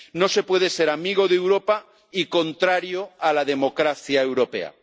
No se puede ser amigo de Europa y contrario a la democracia europea.